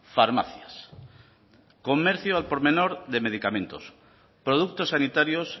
farmacias comercio al por menor de medicamentos productos sanitarios